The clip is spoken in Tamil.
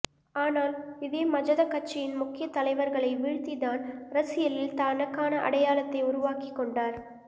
ஆனால் இதே மஜத கட்சியின் முக்கிய தலைவர்களை வீழ்த்திதான் அரசியலில் தனக்கான அடையாளத்தை உருவாக்கிக் கொண்டார்